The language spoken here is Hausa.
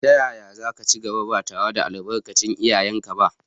Yaya za ka ci gaba, ba tare da albarkar iyayenka ba?